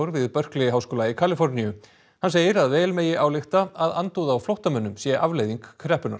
við Berkeley háskóla í Kaliforníu hann segir að vel megi álykta að andúð á flóttamönnum sé afleiðing kreppunnar